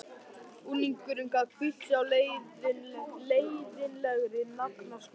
Unglingurinn gat hvílt sig á leiðinlegri naflaskoðun.